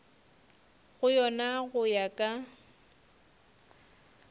go yona go ya ka